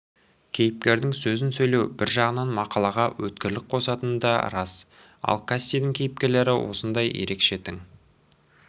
кейіпкердің сөзін сөйлеу бір жағынан мақалаға өткірлік қосатыны да рас ал кассидің кейіпкерлері осындай ерекше тың